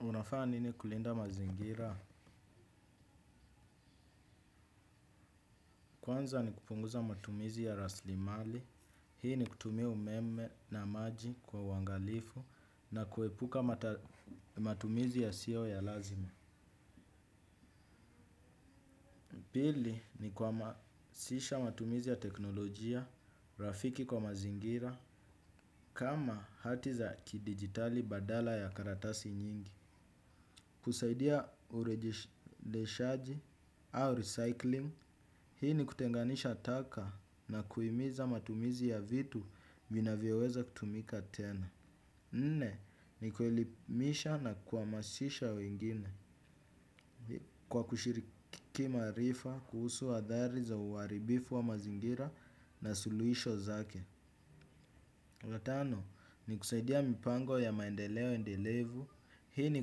Unafana nini kulinda mazingira? Kwanza ni kupunguza matumizi ya raslimali. Hii ni kutumia umeme na maji kwa uangalifu na kuepuka matumizi yasiyo ya lazima. Pili ni kuhamasisha matumizi ya teknolojia, rafiki kwa mazingira, kama hati za kidigitali badala ya karatasi nyingi. Kusaidia urejeshaji au recycling. Hii ni kutenganisha taka na kuimiza matumizi ya vitu minavyoweza kutumika tena. Nne, ni kuelimisha na kuamasisha wengine kwa kushiriki maarifa kuhusu adhari za uaribifu wa mazingira na suluisho zake. Watano, ni kusaidia mipango ya maendeleo endelevu. Hii ni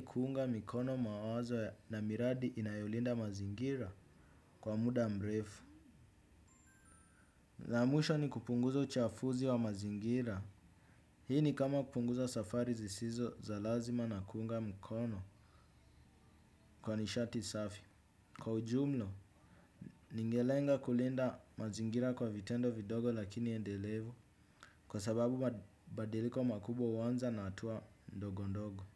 kuunga mikono mawazo na miradi inayolinda mazingira kwa muda mrefu. La mwisho ni kupunguza uchafuzi wa mazingira. Hii ni kama kupunguza safari zisizo za lazima na kuunga mkono kwa nishati safi. Kwa ujumlo, ningelenga kulinda mazingira kwa vitendo vidogo lakini endelevu kwa sababu badiliko makubwa huanza na atua ndogondogo.